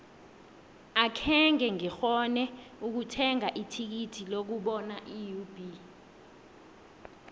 akhenge ngikghone ukuthenga ithikithi lokubona iub